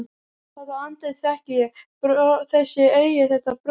Þetta andlit þekki ég: Þessi augu, þetta bros.